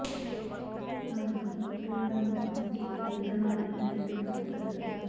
ఆ రోజూ ఎప్పటిలాగానే ఇంటికి వచ్చి వికటాలాడి వెళ్లాడు ఆ తుంటరి